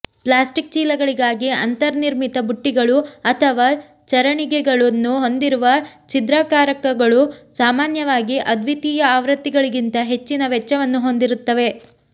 plastic ಚೀಲಗಳಿಗಾಗಿ ಅಂತರ್ನಿರ್ಮಿತ ಬುಟ್ಟಿಗಳು ಅಥವಾ ಚರಣಿಗೆಗಳನ್ನು ಹೊಂದಿರುವ ಛಿದ್ರಕಾರಕಗಳು ಸಾಮಾನ್ಯವಾಗಿ ಅದ್ವಿತೀಯ ಆವೃತ್ತಿಗಳಿಗಿಂತ ಹೆಚ್ಚಿನ ವೆಚ್ಚವನ್ನು ಹೊಂದಿರುತ್ತವೆ